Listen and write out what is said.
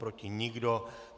Proti nikdo.